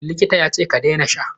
Likita yace ka daina sha!